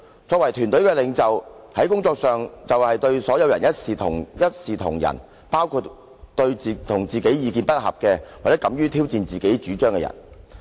作為團隊的領袖，在工作上就要對所有人一視同仁，包括和自己意見不合，或者敢於挑戰自己的主張的人。